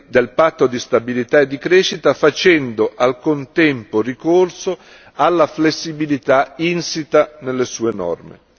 del patto di stabilità e di crescita, facendo al contempo ricorso alla flessibilità insita nelle sue norme.